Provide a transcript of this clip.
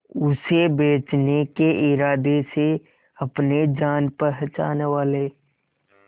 उसे बचने के इरादे से अपने जान पहचान वाले